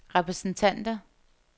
repræsentanter